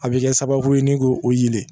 A bɛ kɛ sababu ye ni k'o yelen